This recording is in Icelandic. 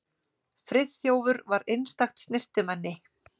Friðþjófur var einstakt snyrtimenni.